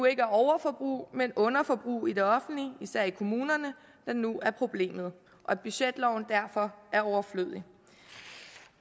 er overforbrug men underforbrug i det offentlige især i kommunerne der nu er problemet og at budgetloven derfor er overflødig